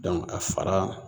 Dɔnku a fara